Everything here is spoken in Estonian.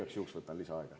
Igaks juhuks võtan lisaaega.